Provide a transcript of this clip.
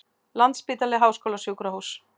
Landspítali Háskólasjúkrahús.